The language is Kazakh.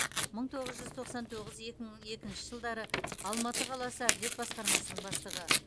мың тоғыз жүз тоқсан тоғыз екі мың екінші жылдары алматы қаласы әділет басқармасының бастығы